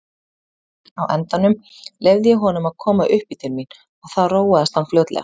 Á endanum leyfði ég honum að koma uppí til mín og þá róaðist hann fljótlega.